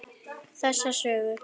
Þessa sögu.